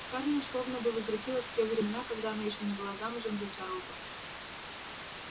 скарлетт словно бы возвратилась в те времена когда она ещё не была замужем за чарлзом